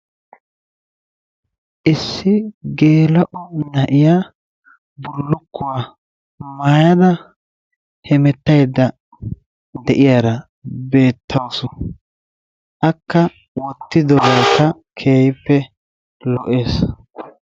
Issi geela'o na'iya bullukuwa maayada hemettaydda de'iyara beettawusu. Akka wottidogeekka keehippe lo''ees.